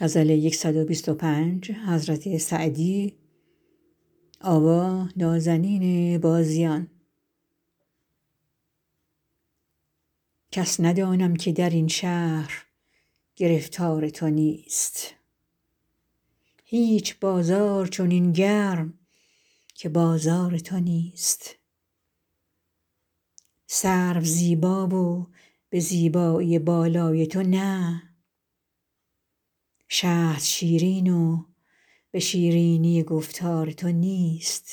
کس ندانم که در این شهر گرفتار تو نیست هیچ بازار چنین گرم که بازار تو نیست سرو زیبا و به زیبایی بالای تو نه شهد شیرین و به شیرینی گفتار تو نیست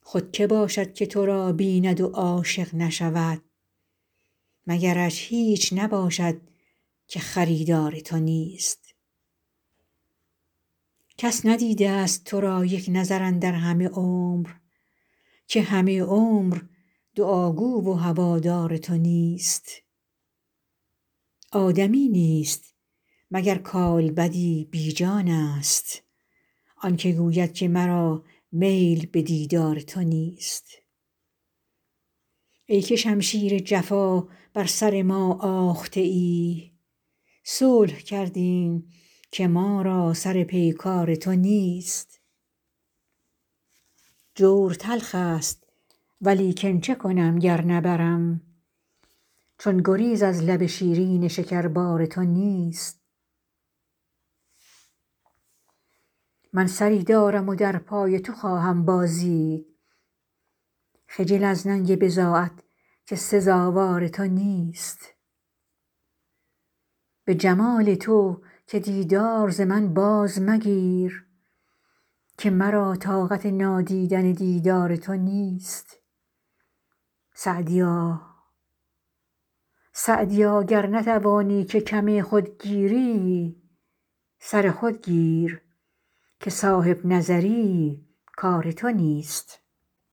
خود که باشد که تو را بیند و عاشق نشود مگرش هیچ نباشد که خریدار تو نیست کس ندیده ست تو را یک نظر اندر همه عمر که همه عمر دعاگوی و هوادار تو نیست آدمی نیست مگر کالبدی بی جانست آن که گوید که مرا میل به دیدار تو نیست ای که شمشیر جفا بر سر ما آخته ای صلح کردیم که ما را سر پیکار تو نیست جور تلخ ست ولیکن چه کنم گر نبرم چون گریز از لب شیرین شکربار تو نیست من سری دارم و در پای تو خواهم بازید خجل از ننگ بضاعت که سزاوار تو نیست به جمال تو که دیدار ز من باز مگیر که مرا طاقت نادیدن دیدار تو نیست سعدیا گر نتوانی که کم خود گیری سر خود گیر که صاحب نظر ی کار تو نیست